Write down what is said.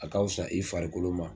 A ka fisa i farikolo ma